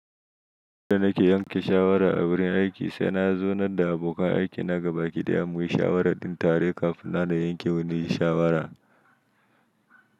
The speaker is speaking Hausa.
Da nake yanke shawara a wurin aiki, sai na zaunar da abokan aikina gabaki ɗaya muyi shawarar ɗin tare kafin na na yanke wani shawara.